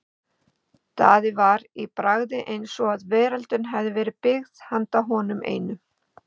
Daði var í bragði eins og veröldin hefði verið byggð handa honum einum.